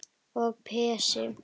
Og Pési